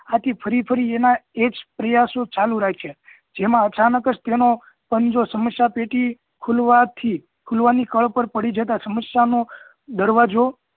આથી ફરી ફરી એનાં એજ પ્રયાસો ચાલુ રાખ્યા જેમાં અચાનક જ તેનો પંજો સમસ્યા પેટી ખુલવાથી ખુલવાની કળ પર પડી જતાં સમસ્યા નો દરવાજો